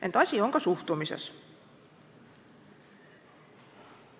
Ent asi on ka suhtumises.